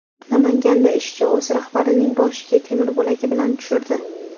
Namanganda ishchi o‘z rahbarining boshiga temir bo‘lagi bilan tushirdi.